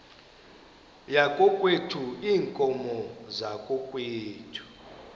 yakokwethu iinkomo zakokwethu